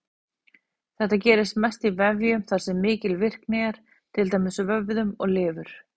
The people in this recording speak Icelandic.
Þetta gerist mest í vefjum þar sem mikil virkni er, til dæmis vöðvum og lifur.